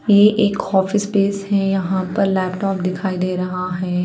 ये एक office space है यहाँ पर लैपटॉप दिखाई दे रहा है।